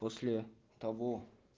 после того